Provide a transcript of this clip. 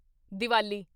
Diwali